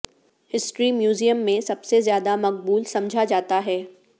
history museum میں سب سے زیادہ مقبول سمجھا جاتا ہے